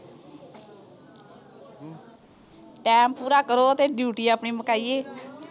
time ਪੂਰਾ ਕਰੋ ਤੇ ਡਿਊਟੀ ਆਪਣੀ ਮੁਕਾਈਏ